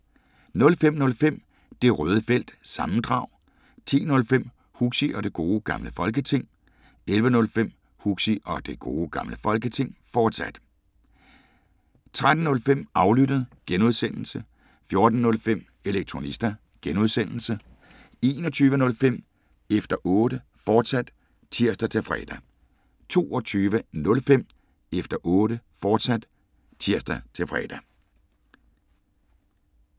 05:05: Det Røde Felt – sammendrag 10:05: Huxi og Det Gode Gamle Folketing 11:05: Huxi og Det Gode Gamle Folketing, fortsat 13:05: Aflyttet (G) 14:05: Elektronista (G) 21:05: Efter Otte, fortsat (tir-fre) 22:05: Efter Otte, fortsat (tir-fre)